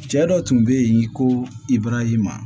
Cɛ dɔ tun be yen ko ibarahima